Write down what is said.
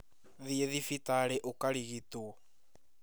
Thiĩ thibitarĩ ũkarigitwo